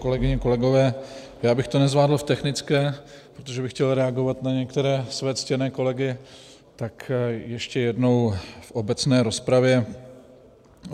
Kolegyně, kolegové, já bych to nezvládl v technické, protože bych chtěl reagovat na některé své ctěné kolegy, tak ještě jednou v obecné rozpravě.